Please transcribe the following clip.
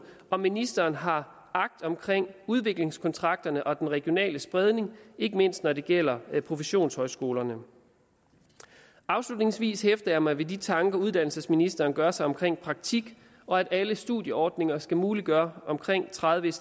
om ministeren har agt omkring udviklingskontrakterne og den regionale spredning ikke mindst når det gælder professionshøjskolerne afslutningsvis hæfter jeg mig ved de tanker uddannelsesministeren gør sig omkring praktik og at alle studieordninger skal muliggøre omkring tredive